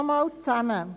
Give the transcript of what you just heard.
Ich fasse zusammen: